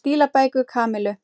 stílabækur Kamillu.